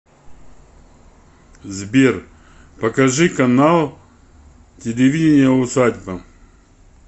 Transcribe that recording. сбер покажи канал телевидения усадьба